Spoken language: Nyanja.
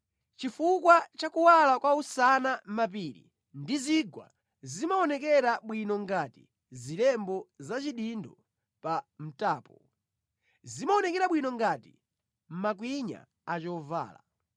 Chifukwa cha kuwala kwa usana mapiri ndi zigwa zimaonekera bwino ngati zilembo za chidindo pa mtapo; zimaonekera bwino ngati makwinya a chovala.